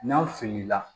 N'aw filila